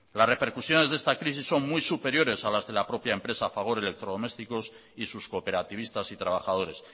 las repercusiones de esta crisis son muy superiores a las de la propia empresa fagor electrodomésticos y sus cooperativistas y trabajadores